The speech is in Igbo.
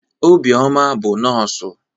Obioma bụ nọọsụ.